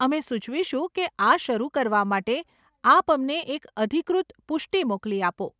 અમે સુચવીશું કે આ શરુ કરવા માટે આપ અમને એક અધિકૃત પુષ્ટિ મોકલી આપો.